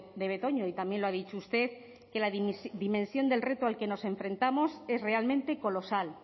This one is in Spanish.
de betoño y también lo ha dicho usted que la dimensión del reto al que nos enfrentamos es realmente colosal